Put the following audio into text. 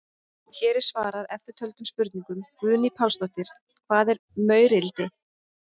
Hér er svarað eftirtöldum spurningum: Guðný Pálsdóttir: Hvað er maurildi?